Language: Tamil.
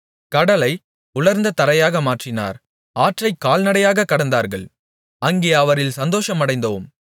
கடலை உலர்ந்த தரையாக மாற்றினார் ஆற்றைக் கால்நடையாகக் கடந்தார்கள் அங்கே அவரில் சந்தோஷமடைந்தோம்